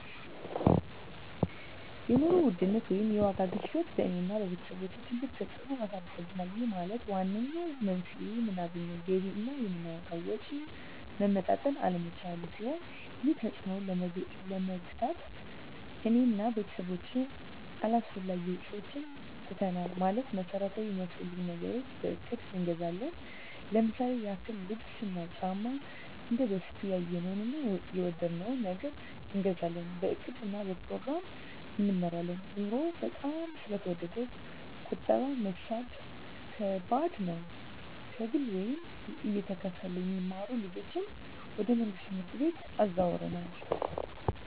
የኑሮ ውድነት ወይም የዋጋ ግሽበት በእኔ እና በቤተሰቦቸ ትልቅ ተፅእኖ አሳድሮብናል ይህም ማለት ዋነኛው መንስኤው የምናገኘው ገቢ እና የምናወጣው ወጪ መመጣጠን አለመቻሉን ሲሆን ይህንን ተፅዕኖ ለመግታት እኔ እና ቤተሰቦቸ አላስፈላጊ ወጪዎችን ትተናል ማለትም መሠረታዊ ሚያስፈልጉንን ነገሮች በእቅድ እንገዛለን ለምሳሌ ያክል ልብስ እና ጫማ እንደበፊቱ ያየነውን እና የወደድነውን ነገር አንገዛም በእቅድ እና በፕሮግራም እንመራለን ኑሮው በጣም ስለተወደደ ቁጠባ መሣብ ከባድ ነው። ከግል ወይም እየተከፈለ የሚማሩ ልጆችን ወደ መንግሥት ትምህርት ቤቶች አዘዋውረናል።